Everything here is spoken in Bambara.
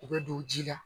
U bɛ don ji la